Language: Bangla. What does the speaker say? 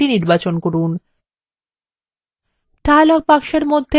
বাম দিকে document বিকল্পটি নির্বাচন করুন